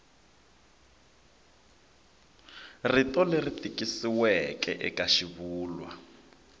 rito leri tikisiweke eka xivulwa